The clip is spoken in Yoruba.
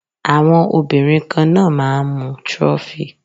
Àwọn obìnrin kan náà máà ń mu trophy.